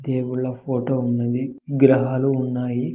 దేవుళ్ళ ఫోటో ఉన్నది గ్రహాలు ఉన్నాయి.